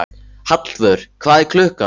Hallvör, hvað er klukkan?